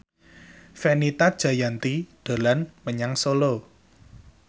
Fenita Jayanti dolan menyang Solo